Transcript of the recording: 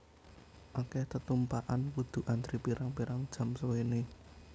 Akeh tetumpakan kudu antri pirang pirang jam suwene